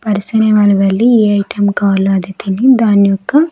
పర్సన అనే వెళ్ళి ఏటిఎం కాల్ అది తిని దాని యొక్క.